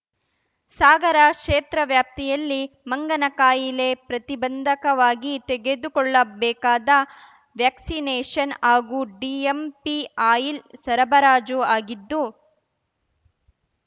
ಸಾಗರ ಕ್ಷೇತ್ರವ್ಯಾಪ್ತಿಯಲ್ಲಿ ಮಂಗನ ಕಾಯಿಲೆ ಪ್ರತಿಬಂಧಕವಾಗಿ ತೆಗೆದುಕೊಳ್ಳಬೇಕಾದ ವ್ಯಾಕ್ಸಿನೇಷನ್‌ ಹಾಗೂ ಡಿಎಂಪಿ ಆಯಿಲ್‌ ಸರಬರಾಜು ಆಗಿದ್ದು